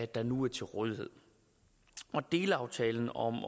der nu er til rådighed delaftalen om